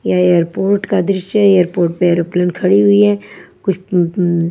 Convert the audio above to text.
यह एयरपोर्ट का दृश्य है एयरपोर्ट पे एरोप्लेन खड़ी हुई हैं कुछ उम उम --